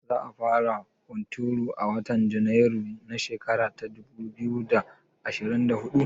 Za a fara hunturu a watan Janairu na shekara ta dubu biyu da ashirin da huɗu?